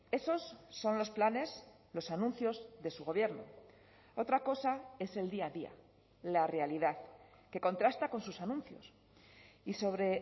esos son los planes los anuncios de su gobierno otra cosa es el día a día la realidad que contrasta con sus anuncios y sobre